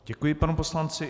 Děkuji panu poslanci.